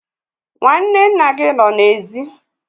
Nwanne nna gị nọ n'èzí